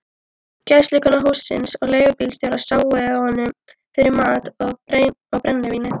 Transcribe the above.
Gæslukona hússins og leigubílstjórar sáu honum fyrir mat og brennivíni.